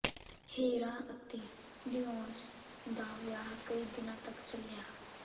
ਹੇਰਾ ਅਤੇ ਦਿਔਸ ਦਾ ਵਿਆਹ ਕਈ ਦਿਨਾਂ ਤਕ ਚੱਲਿਆ